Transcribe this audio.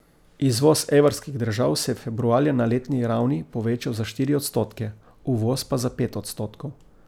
Izvoz evrskih držav se je februarja na letni ravni povečal za štiri odstotke, uvoz pa za pet odstotkov.